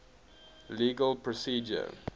legal procedure